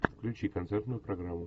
включи концертную программу